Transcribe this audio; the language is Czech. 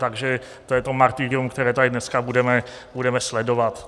Takže to je to martyrium, které tady dneska budeme sledovat.